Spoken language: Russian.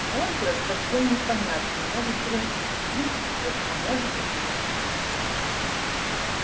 возраст совсем непонятен может три тридцать лет а может и триста